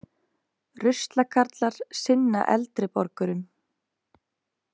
Ruslakarlar sinna eldri borgurum